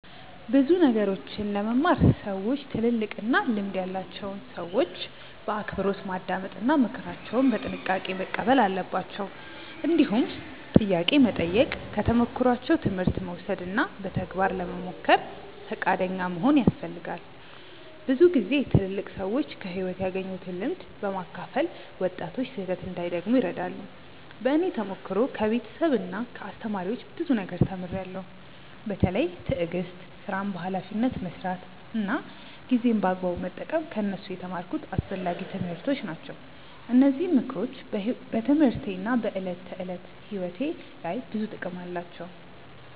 ብዙ ነገሮችን ለመማር ሰዎች ትልልቅና ልምድ ያላቸውን ሰዎች በአክብሮት ማዳመጥ እና ምክራቸውን በጥንቃቄ መቀበል አለባቸው። እንዲሁም ጥያቄ መጠየቅ፣ ከተሞክሯቸው ትምህርት መውሰድ እና በተግባር ለመሞከር ፈቃደኛ መሆን ያስፈልጋል። ብዙ ጊዜ ትልልቅ ሰዎች ከሕይወት ያገኙትን ልምድ በማካፈል ወጣቶች ስህተት እንዳይደግሙ ይረዳሉ። በእኔ ተሞክሮ ከቤተሰብና ከአስተማሪዎች ብዙ ነገር ተምሬያለሁ። በተለይ ትዕግስት፣ ሥራን በኃላፊነት መስራት እና ጊዜን በአግባቡ መጠቀም ከእነሱ የተማርኩት አስፈላጊ ትምህርቶች ናቸው። እነዚህ ምክሮች በትምህርቴና በዕለት ተዕለት ሕይወቴ ላይ ብዙ ጥቅም አላቸው።